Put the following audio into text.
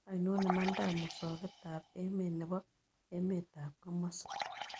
Ainon imandap musogetap emet ne po emetap komosi